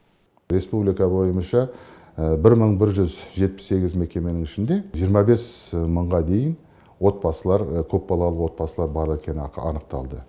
республика бойынша бір мың бір жүз жетпіс сегіз мекеменің ішінде жиырма бес мыңға дейін көпбалалы отбасылар бар екені анықталды